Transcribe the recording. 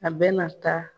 A bɛna taa